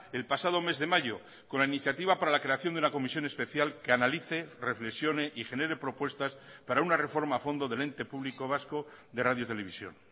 el pasado mes de mayo con la iniciativa para la creación de una comisión especial que analice reflexione y genere propuestas para una reforma a fondo del ente público vasco de radio televisión